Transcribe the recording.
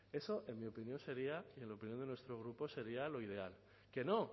eso en mi opinión sería en opinión de nuestro grupo sería lo ideal que no